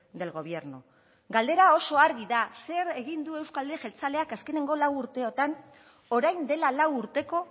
del gobierno galdera oso argi da zer egin du euzko alderdi jeltzaleak azkeneko lau urteotan orain dela lau urteko